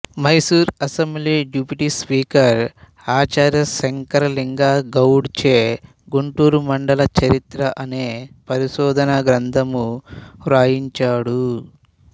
Mysuru assembly deputy speaker Acharya Shankaralinga Gowda చే గుంటూరు మండల చరిత్ర అనే పరిశోధనా గ్రంథము వ్రాయించాడు